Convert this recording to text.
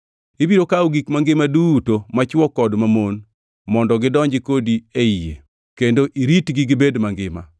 Ibiro kawo gik mangima duto, machwo kod mamon mondo gidonji kodi ei yie kendo iritgi gibed mangima.